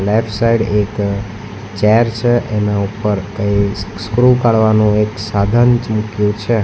Left side એક chair છે એના ઉપર કઈ સ્ક્રુ કાળવાનુ એક સાધન મૂક્યુ છે.